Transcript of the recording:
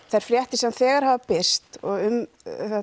þær fréttir sem þegar hafa birst um